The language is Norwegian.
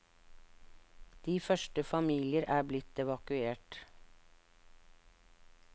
De første familier er blitt evakuert.